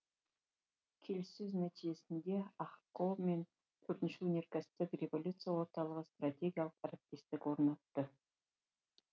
келіссөз нәтижесінде ахқо мен төртінші өнеркәсіптік революция орталығы стратегиялық әріптестік орнатты